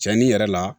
Cɛnnin yɛrɛ la